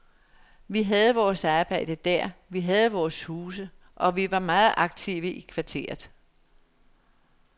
Vi havde vores arbejde der, vi havde vores huse og vi var meget aktive i kvarteret.